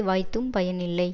வாய்த்தும் பயன் இல்லை